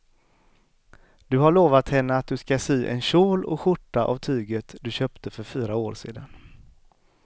Du har lovat henne att du ska sy en kjol och skjorta av tyget du köpte för fyra år sedan.